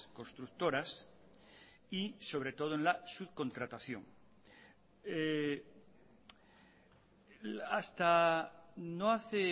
constructoras y sobre todo en la subcontratación hasta no hace